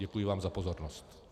Děkuji vám za pozornost.